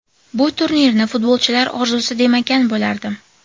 Bu turnirni futbolchilar orzusi demagan bo‘lardim.